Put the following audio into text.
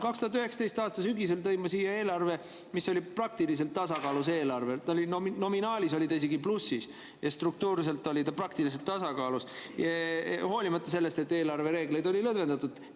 2019. aasta sügisel tõin ma siia eelarve, mis oli praktiliselt tasakaalus, nominaalis oli ta isegi plussis ja struktuurselt oli ta praktiliselt tasakaalus, hoolimata sellest, et eelarvereegleid oli lõdvendatud.